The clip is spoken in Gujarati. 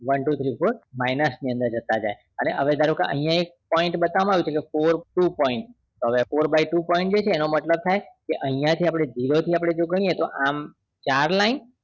One two three four minus ની અંદર જતા જાય અને હવે ધારોકે અહિયાં એક point બતાવવા માં આવે ચ્જે કે four two point તો હવે four by too point જે છે એનો મતલબ થાય કે અહિયાં થી આપડે zero થી ગણીએ તો આમ ચાર line